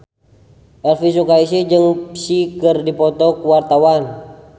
Elvi Sukaesih jeung Psy keur dipoto ku wartawan